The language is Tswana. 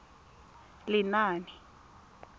lenaane